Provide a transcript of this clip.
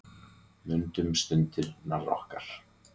Mundu stundirnar okkar.